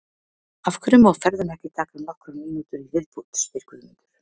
Af hverju má ferðin ekki taka nokkrar mínútur í viðbót? spyr Guðmundur.